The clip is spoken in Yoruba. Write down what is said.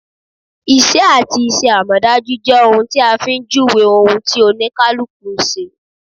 Isẹ́ àti iṣẹ́ amọdaju jẹ́ ohun tí a fi ń júwèé ohun tí Oníkálukú ń ṣe